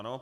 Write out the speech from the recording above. Ano.